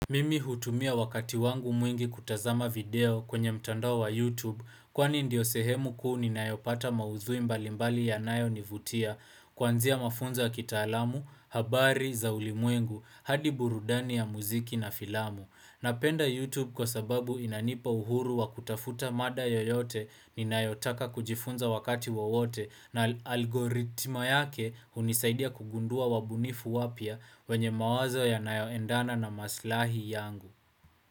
Mimi hutumia wakati wangu mwingi kutazama video kwenye mtandao wa YouTube kwani ndiyo sehemu kuu ni ninayopata maudhui mbalimbali ya nayonivutia Kuanzia mafunzo ya kitaalamu, habari, za ulimwengu, hadi burudani ya muziki na filamu. Napenda YouTube kwa sababu inanipa uhuru wa kutafuta mada yoyote ninayotaka kujifunza wakati wawote na algoritma yake hunisaidia kugundua wabunifu wapya wenye mawazo yanayoendana na maslahi yangu.